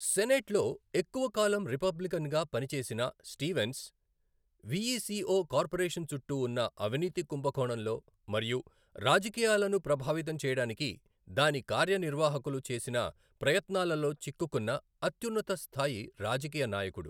సెనేట్లో ఎక్కువ కాలం రిపబ్లికన్గా పనిచేసిన స్టీవెన్స్, విఇసిఒ కార్పొరేషన్ చుట్టూ ఉన్న అవినీతి కుంభకోణంలో మరియు రాజకీయాలను ప్రభావితం చేయడానికి దాని కార్యనిర్వాహకులు చేసిన ప్రయత్నాలలో చిక్కుకున్న అత్యున్నత స్థాయి రాజకీయ నాయకుడు.